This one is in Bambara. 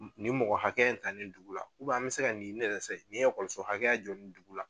Nin mɔgɔ hakɛ ta nin dugu la an bɛ se ka nin ne yɛrɛ sɛ i ye so hakɛya jɔ dugu la?